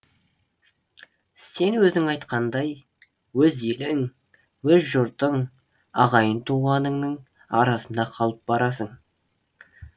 сен өзің айтқандай өз елің өз жұртың ағайын туғаныңның арасында қалып барасың